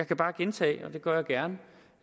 bare gentage og det gør jeg gerne